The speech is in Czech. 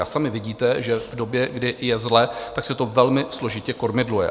A sami vidíte, že v době, kdy je zle, tak se to velmi složitě kormidluje.